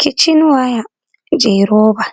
Kichinwaya je roba